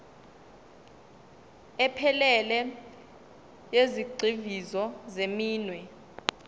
ephelele yezigxivizo zeminwe